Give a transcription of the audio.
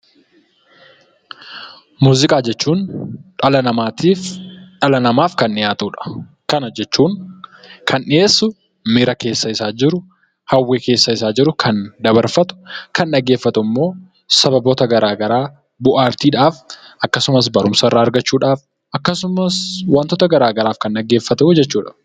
Muuziqaa jechuun dhala namattiif kan dhiyaatudha. Kan dhiyyesuu miiraa keessa isaa jiru hawwii keessa isaa jiru, kan dabarfatu. Kan dhageffatuu immoo sababoota gara garaa bu'a arti dhaaf akkasumaas barumsa irraa argachuudhaaf, akkasumaas waantoota gara garaaf kan dhageefatu jechuudha.